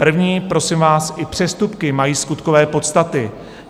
První: prosím vás, i přestupky mají skutkové podstaty.